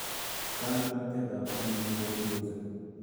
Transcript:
Kandoinatet ab alik nebo sirosek